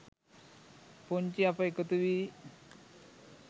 පුංචි අප එකතුවී